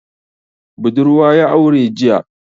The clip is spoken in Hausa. Budurwa ya aure jiya.